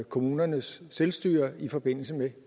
kommunernes selvstyre i forbindelse med